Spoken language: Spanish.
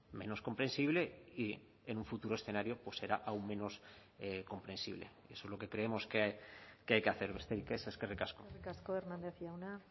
menos comprensible y en un futuro escenario pues será aún menos comprensible eso es lo que creemos que hay que hacer besterik es eskerrik asko eskerrik asko hernández jauna